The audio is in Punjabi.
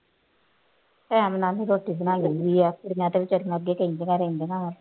time ਨਾਲ ਹੀ ਰੋਟੀ ਬਣਾ ਲੈਂਦੀ ਹੈ ਅਤੇ ਮੈਂ ਤਾਂ ਬੇਚਾਰੀ ਨੂੰ ਅੱਗੇ ਕਹਿੰਦੀਆਂ ਰਹਿੰਦੀਆਂ ਵਾ